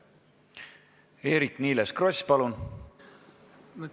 Eerik-Niiles Kross, palun!